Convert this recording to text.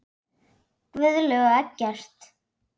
Guðlaug og Eggert.